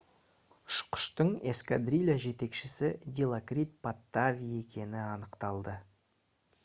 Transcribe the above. ұшқыштың эскадрилья жетекшісі дилокрит паттави екені анықталды